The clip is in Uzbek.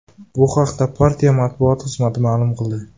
Bu haqda partiya matbuot xizmati ma’lum qildi.